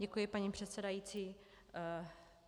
Děkuji, paní předsedající.